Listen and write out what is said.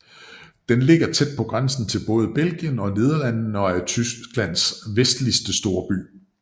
Den ligger tæt på grænsen til både Belgien og Nederlandene og er Tysklands vestligste storby